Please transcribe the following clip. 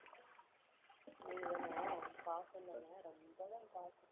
நீதானே, பாசம்தானே? ரொம்ப தான் பாசம்.